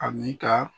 Ani ka